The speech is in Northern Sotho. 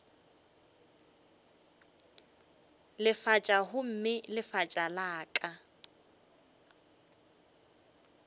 lefatša gomme lefatša la ka